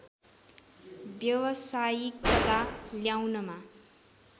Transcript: व्यवसायिकता ल्याउनमा